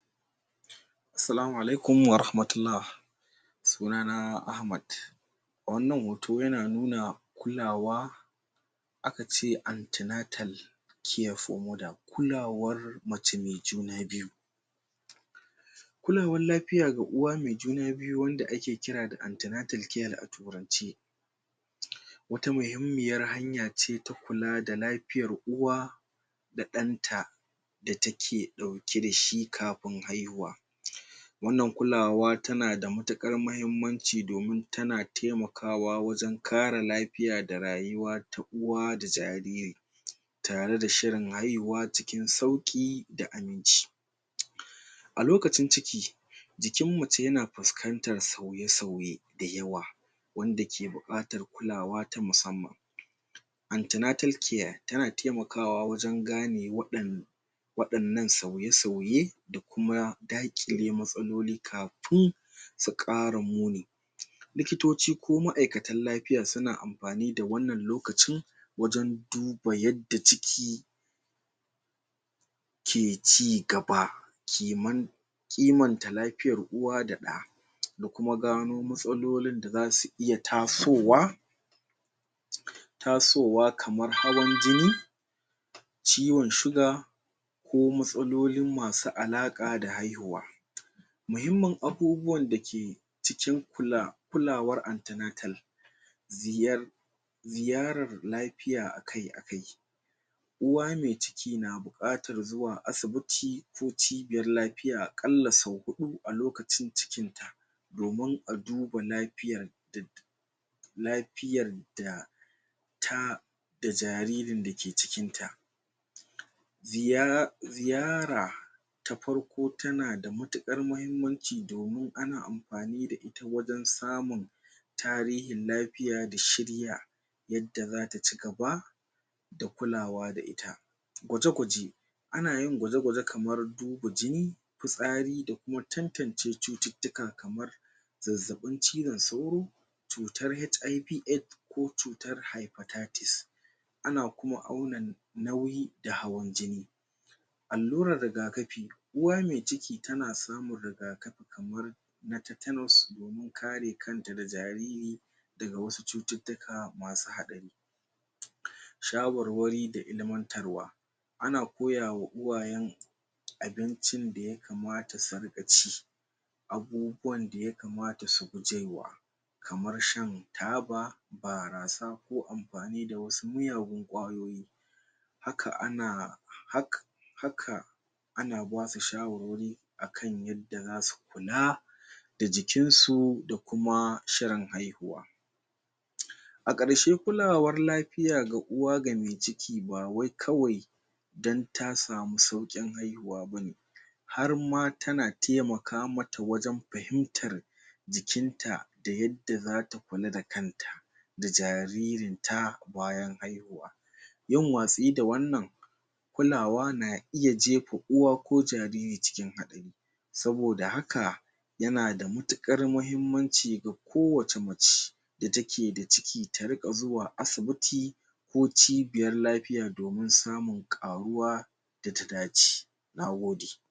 Salamu alaikum warahmatullah suna na Ahmad wannan hoto yana nuna kulawa aka ce anti-natal care for mother, kulawar mace mai juna biyu kulawan lafiya ga uwa mai juna biyu wanda ake kira da anti-natal care a turance wata muhimmiyar hanya ce ta kula da lafiyar uwa da ɗan ta da take ɗauke da shi kafin haihuwa wannan kulawa tana da matuƙar mahimmanci domin tana taimakawa wajen kare lafiya da rayuwa ta uwa da jariri tare da shirin haihuwa cikin sauƙi da aminci a lokacin ciki jikin mace yana fuskantar sauye-sauye da yawa wanda ke buƙatar kulawa ta musamman anti-natal care tana taimakawa wajen gane waɗan waɗannan sauye-sauye da kuma daƙile matsaloli kafun su ƙara muni likitoci ko ma'aikatan lafiya suna amfani da wannan lokacin wajen duba yadda ciki ke cigaba ki mun kimanta lafiyar uwa da ɗa da kuma gano matsalolin da zasu iya tasowa tasowa kamar hawan jini ciwon suga ko matsalolin masu alaƙa da haihuwa mahimmin abubuwan da ke cikin kulawar anti-natal ziyar ziyarar lafiya akai-akai uwa mai ciki na buƙatar zuwa asibiti ko cibiyar lafiya a ƙalla sau huɗu a lokacin cikin ta domin a duba lafiyar da lafiyar da ta da jaririn dake cikin ta ziyara ta farko tana da matuƙar mahimmanci domin ana amfani da ita wajen samun tarihin lafiya da shirya yadda zata cigaba da kulawa da ita, gwaje-gwaje ana yin gwaje-gwaje kamar duba jini fitsari da kuma tantance cututtuka kamar zazzaɓin cizon sauro cutar HIV aids ko cutar hepatitis ana kuma auna nauyi da kuma hawan jini allurar rigakafi, uwa mai ciki tana samun rigakafi kamar na tetanus domin kare kan ta da jariri daga wasu cututtuka masu haɗari shawarwari da ilimantarwa ana koya wa uwayen abincin da yakamata su riƙa ci abubuwan da yakamata su guje wa kamar shan taba, barasa ko amfani da wasu miyagun ƙwayoyi haka ana ana basu shawarwari akan yadda zasu kula da jikin su da kuma shirin haihuwa a ƙarshe kulawar lafiya ga uwa, ga mai ciki ba wai kawai dan ta samu sauƙin haihuwa bane har ma tana taimaka mata wajen fahimtar jikin ta da yadda zata kula da kan ta da jaririn ta bayan haihuwa yin watsi da wannan kulawa na iya gefa uwa ko jariri cikin haɗari saboda haka yana da matuƙar mahimmanci ga kowacce mace da take da ciki ta riƙa zuwa asibiti ko cibiyar lafiya domin samun ƙaruwa da ta dace, na gode.